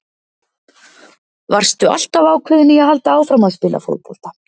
Varstu alltaf ákveðinn í að halda áfram að spila fótbolta?